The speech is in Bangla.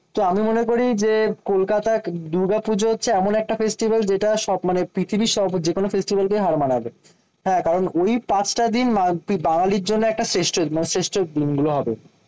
তো আমি মনে করি যে, কলকাতার দুর্গাপুজো হচ্ছে এমন একটা ফেস্টিবেল যেটা সব মানে পৃথিবীর সব যেকোনো ফেস্টিবেলকেই হার মানাবে। হ্যাঁ কারণ ওই পাঁচটা দিন বা বাঙালির জন্য একটা শ্রেষ্ঠ মানে দিন গুলো হবে।